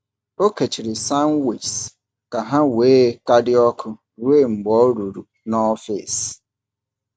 Ọ kechiri sandwiches ka ha wee ka dị ọkụ ruo mgbe ọ ruru n’ọfịs.